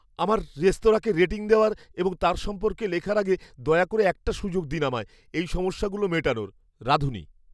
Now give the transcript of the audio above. আমার রেস্তোরাঁকে রেটিং দেওয়ার এবং তার সম্পর্কে লেখার আগে, দয়া করে একটা সুযোগ দিন আমায় এই সমস্যাগুলো মেটানোর রাঁধুনি।